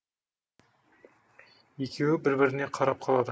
екеуі бір біріне қарап қалады